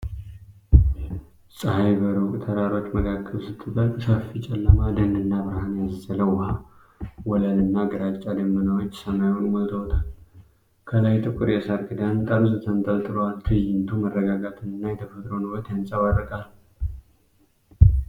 ፀሐይ በሩቅ ተራሮች መካከል ስትጠልቅ ሰፊ ጨለማ ደንና ብርሃን ያዘለ ውሃ ወለል እና ግራጫ ደመናዎች ሰማዩን ሞልተውታል። ከላይ ጥቁር የሳር ክዳን ጠርዝ ተንጠልጥሏል። ትዕይንቱ መረጋጋትንና የተፈጥሮን ውበት ያንጸባርቃል።